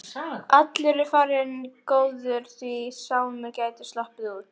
Allur er varinn góður, því Sámur gæti sloppið út.